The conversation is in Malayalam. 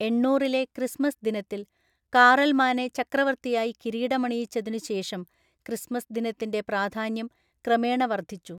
എണ്ണൂറിലെ ക്രിസ്മസ് ദിനത്തിൽ കാറൽമാനെ ചക്രവർത്തിയായി കിരീടമണിയിച്ചതിനുശേഷം ക്രിസ്മസ് ദിനത്തിന്റെ പ്രാധാന്യം ക്രമേണ വർദ്ധിച്ചു.